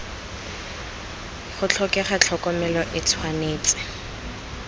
go tlhokega tlhokomelo e tshwanetse